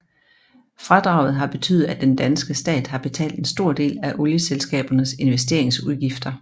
Fradraget har betydet at den danske stat har betalt en stor del af olieselskabernes investeringsudgifter